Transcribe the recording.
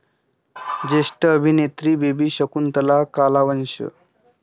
ज्येष्ठ अभिनेत्री बेबी शकुंतला कालवश